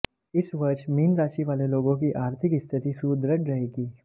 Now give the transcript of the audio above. इस वर्ष मीन राशि वाले लोगों की आर्थिक स्थिति सुदृढ़ रहेगी